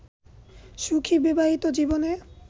সুখী বিবাহিত জীবনে